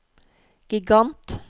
gigant